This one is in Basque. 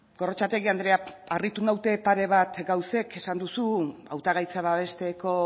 gorrotxategi andrea harritu naute pare bat gauzek esan duzu hautagaitza babesteko